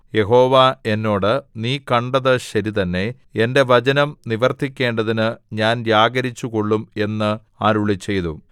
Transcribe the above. യഹോവ എന്നോട് നീ കണ്ടത് ശരിതന്നെ എന്റെ വചനം നിവർത്തിക്കേണ്ടതിന് ഞാൻ ജാഗരിച്ചു കൊള്ളും എന്ന് അരുളിച്ചെയ്തു